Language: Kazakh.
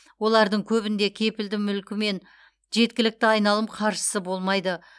олардың көбінде кепілді мүлкі мен жеткілікті айналым қаржысы болмайды